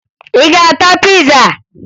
Ị ga-ata piza?